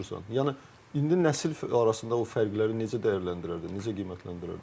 Yəni indi nəsil arasında o fərqləri necə dəyərləndirərdin, necə qiymətləndirərdin?